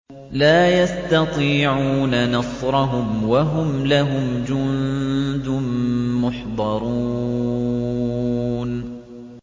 لَا يَسْتَطِيعُونَ نَصْرَهُمْ وَهُمْ لَهُمْ جُندٌ مُّحْضَرُونَ